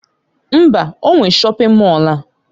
Mba! O nwe shọpin Mọll a.